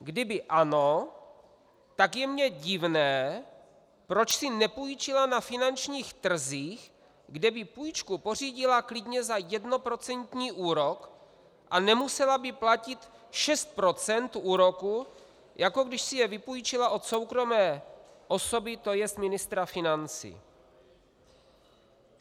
Kdyby ano, tak je mi divné, proč si nepůjčila na finančních trzích, kde by půjčku pořídila klidně za jednoprocentní úrok a nemusela by platit 6 % úroku, jako když si je vypůjčila od soukromé osoby, to jest ministra financí.